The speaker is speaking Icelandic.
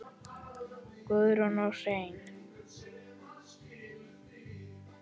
Guðrún og Hreinn.